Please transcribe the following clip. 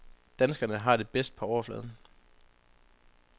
Danskerne har det bedst på overfladen.